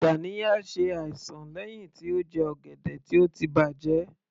Ganiya ṣe àìsàn lẹ́hìn tí ó jẹ ọ̀gẹ̀dẹ̀ tó ti bàjẹ́